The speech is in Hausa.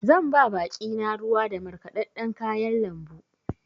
Zan ba baƙi na ruwa da markaɗaɗɗan kayan lambu.